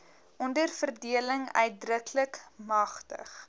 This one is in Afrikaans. onderverdeling uitdruklik magtig